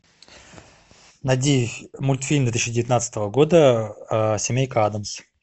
найди мультфильм две тысячи девятнадцатого года семейка адамс